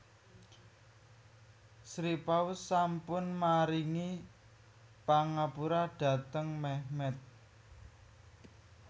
Sri Paus sampun maringi pangapura dhateng Mehmet